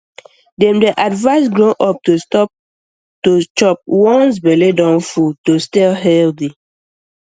dem dey advise grow up to stop to chop once belle don full to stay healthy